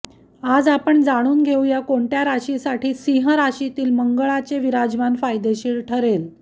आज आपण जाणून घेऊया कोणत्या राशीसाठी सिंह राशीतील मंगळाचे विराजमान फायदेशीर ठरेल